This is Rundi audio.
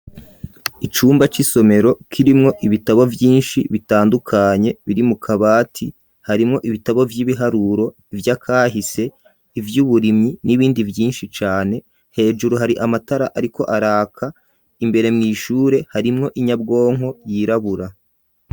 Icumba c'isomero kirimwo ibitabo vyinshi bitandukanye biri mu kabati harimwo ibitabo vy'ibiharuro ivya kahise, ivy'uburimyi n'ibindi vyinshi cane. Hejuru hari amatara ariko araka imbere mw'ishure harimwo inyabwonko yirabura.